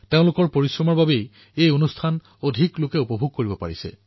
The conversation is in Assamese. তেওঁলোকৰ পৰিশ্ৰমৰ ফলতেই মন কী বাত অধিক সংখ্যক লোকৰ কাষ চাপিবলৈ সক্ষম হৈছে